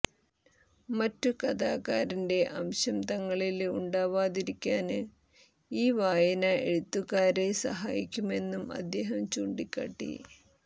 മറ്റു കഥാകാരന്റെ അംശം തങ്ങളില് ഉണ്ടാവാതിരിക്കാന് ഊ വായന എഴുത്തുകാരെ സഹായിക്കുമെന്നും അദ്ദേഹം ചൂണ്ടിക്കാട്ടി